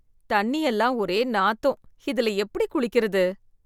தண்ணி எல்லாம் ஒரே நாத்தம் இதில எப்படி குளிக்கிறது.